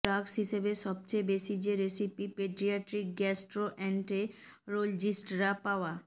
drugs হিসেবে সবচেয়ে বেশি যে রেসিপি পেডিয়াট্রিক গ্যাস্টোএন্টেরোলজিস্টরা পাওয়া